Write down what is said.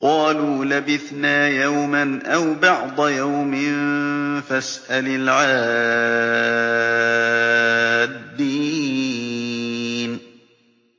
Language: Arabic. قَالُوا لَبِثْنَا يَوْمًا أَوْ بَعْضَ يَوْمٍ فَاسْأَلِ الْعَادِّينَ